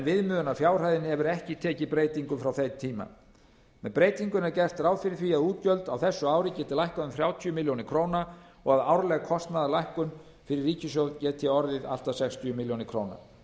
viðmiðunarfjárhæðin hefur ekki tekið breytingum frá þeim tíma með breytingunni er gert ráð fyrir því að útgjöld á þessu ári geti lækkað um þrjátíu milljónir króna og að árleg kostnaðarlækkun fyrir ríkissjóð geti orðið allt að sextíu milljónir króna